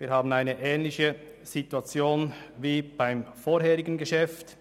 Wir haben eine ähnliche Situation wie beim vorangehenden Geschäft.